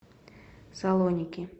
салоники